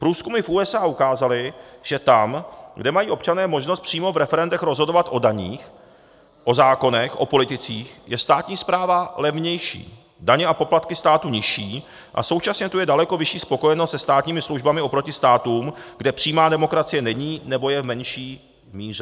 Průzkumy v USA ukázaly, že tam, kde mají občané možnost přímo v referendech rozhodovat o daních, o zákonech, o politicích, je státní správa levnější, daně a poplatky státu nižší a současně tu je daleko vyšší spokojenost se státními službami oproti státům, kde přímá demokracie není, nebo je v menší míře.